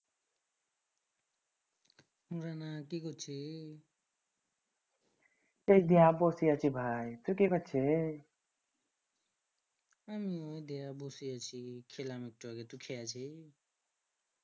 কি করছি I বসে আছি ভাই তুই কি করছি I আমিও বসে আছি খেলাম একটু আগে খেয়ে আসি